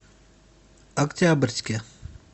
октябрьске